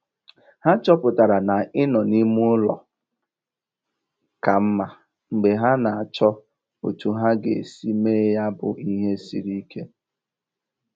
Ha chọpụtara na ịnọ n'ime ụlọ ka mma mgbe ha na - achọ otu ha ga - esi me ya bụ ihe siri ike